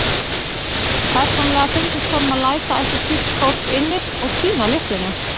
Persónulega fyndist honum að læsa ætti slíkt fólk inni og týna lyklinum.